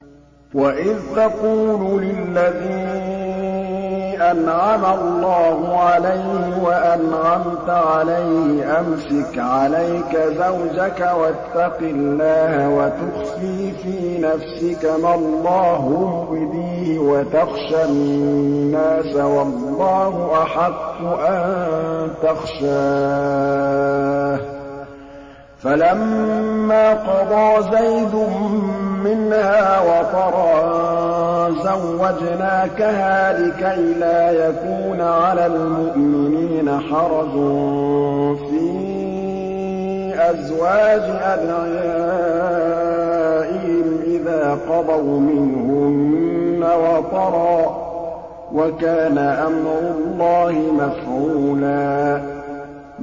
وَإِذْ تَقُولُ لِلَّذِي أَنْعَمَ اللَّهُ عَلَيْهِ وَأَنْعَمْتَ عَلَيْهِ أَمْسِكْ عَلَيْكَ زَوْجَكَ وَاتَّقِ اللَّهَ وَتُخْفِي فِي نَفْسِكَ مَا اللَّهُ مُبْدِيهِ وَتَخْشَى النَّاسَ وَاللَّهُ أَحَقُّ أَن تَخْشَاهُ ۖ فَلَمَّا قَضَىٰ زَيْدٌ مِّنْهَا وَطَرًا زَوَّجْنَاكَهَا لِكَيْ لَا يَكُونَ عَلَى الْمُؤْمِنِينَ حَرَجٌ فِي أَزْوَاجِ أَدْعِيَائِهِمْ إِذَا قَضَوْا مِنْهُنَّ وَطَرًا ۚ وَكَانَ أَمْرُ اللَّهِ مَفْعُولًا